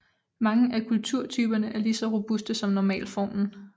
Mange af kulturtyperne er lige så robuste som normalformen